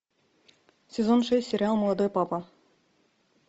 сезон шесть сериал молодой папа